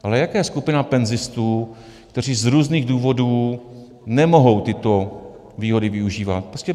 Ale jaká je skupina penzistů, kteří z různých důvodů nemohou tyto důvody využívat?